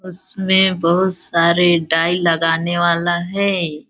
उसमे बहुत सारे डाई लगाने वाला है।